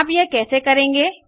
आप यह कैसे करेंगे